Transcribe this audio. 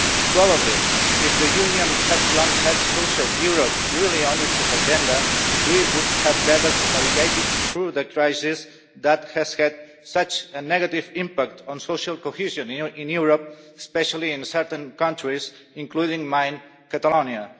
Probably, if the European Union had long had social Europe really on its agenda, we would have better navigated through the crisis that has had such a negative impact on social cohesion in Europe especially in certain countries, including mine, Catalonia.